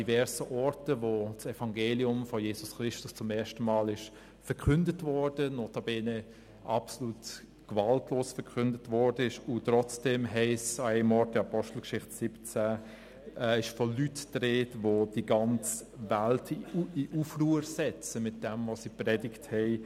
An verschiedenen Orten wurde das Evangelium von Jesus Christus zum ersten Mal verkündet, notabene absolut gewaltlos, und trotzdem ist an einem Ort in der Apostelgeschichte 17 von Leuten die Rede, welche mit dem, was sie gepredigt haben, die ganze Welt in Aufruhr versetzt haben.